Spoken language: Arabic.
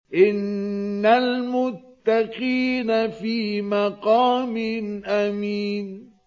إِنَّ الْمُتَّقِينَ فِي مَقَامٍ أَمِينٍ